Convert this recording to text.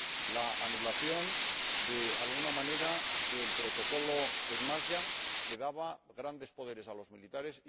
la anulación, de alguna manera, del Protocolo Emasya, que daba grandes poderes a los militares